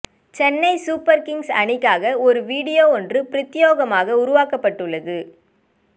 Chennai super kings அணிக்காக ஒரு video ஒன்று பிரத்யேகமாக உருவாக்கப்பட்டுள்ளது